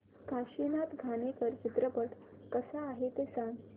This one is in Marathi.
काशीनाथ घाणेकर चित्रपट कसा आहे ते सांग